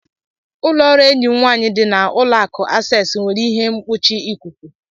Ụlọ ọrụ enyi m nwanyị dị na uloaku Akces nwere ihe mkpuchi ikuku